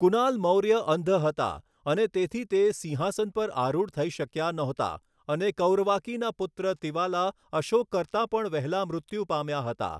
કુનાલ મૌર્ય અંધ હતા અને તેથી તે સિંહાસન પર આરૂઢ થઈ શક્યા નહોતા અને કૌરવાકીના પુત્ર તિવાલા અશોક કરતા પણ વહેલા મૃત્યુ પામ્યા હતા.